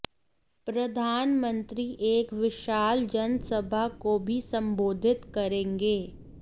प्रधानमंत्री एक विशाल जनसभा को भी सम्बोधित करेंगे